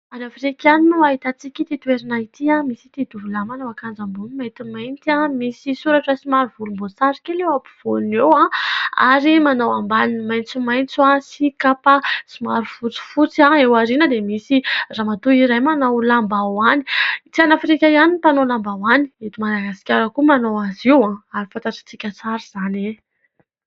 Any Afrika any no ahitantsika ity toerana ity. Misy ity tovolahy manao akanjo ambony maintimainty misy soratra somary volomboasary kely eo ampovoany eo, ary manao ambaniny maitsomaitso sy kapa somary fotsifotsy. Eo aoriana dia misy ramatoa iray manao lambahoany. Tsy any Afrika ihany ny mpanao lambahoany, eto Madagasikara koa manao azy io, ary fantatsika tsara izany.